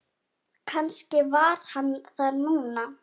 Kannski var hann þar núna.